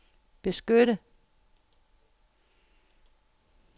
beskytte